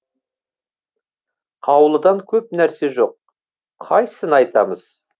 қаулыдан көп нәрсе жоқ қайсыны айтамыз